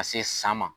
Ka se san ma